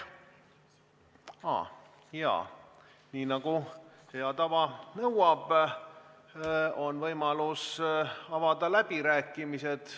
Nii nagu hea tava nõuab, on võimalus avada läbirääkimised.